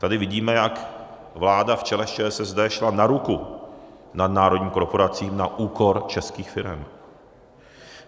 Tady vidíme, jak vláda v čele s ČSSD šla na ruku nadnárodním korporacím na úkor českých firem.